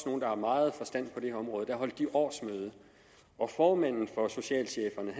nogle der har meget forstand på det her område årsmøde og formanden for socialcheferne